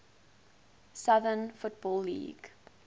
southern football league